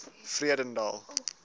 vredendal